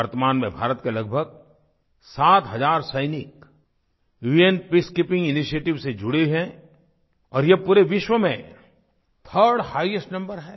वर्तमान में भारत के लगभग सात हज़ार सैनिक उन पीसकीपिंग इनिशिएटिव्स से जुड़े हैं और ये पूरे विश्व में 3rd हाइस्ट नंबर है